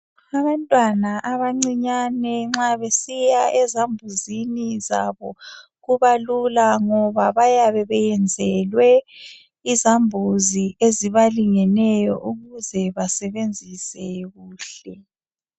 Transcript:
Abantwana abancinyane nxa besiya ezambuzini zabo kubalula ngoba bayabe beyenzelwe izambuzi ezibalingeneyo ukuze basebenzise kuhle.